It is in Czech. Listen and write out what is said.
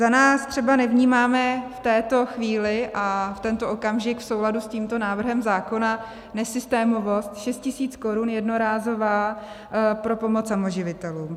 Za nás třeba nevnímáme v této chvíli a v tento okamžik v souladu s tímto návrhem zákona nesystémovost 6 tisíc korun jednorázová pro pomoc samoživitelům.